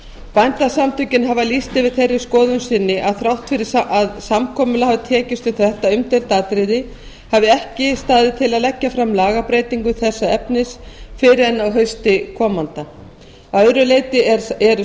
bændasamtökin hafa lýst yfir þeirri skoðun sinni að þrátt fyrir að samkomulag hafi tekist um þetta umdeilda atriði hafi ekki staðið til að leggja fram lagabreytingu þessa efnis fyrr en á hausti komanda að öðru leyti eru